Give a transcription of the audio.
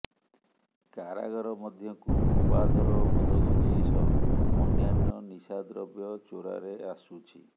କାରାଗାର ମଧ୍ୟକୁ ଅବାଧର ମଦ ଗଞ୍ଜେଇ ସହ ଅନ୍ୟାନ୍ୟ ନିଶାଦ୍ରବ୍ୟ ଚୋରାରେ ଆସୁଛି